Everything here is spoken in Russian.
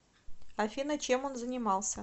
афина чем он занимался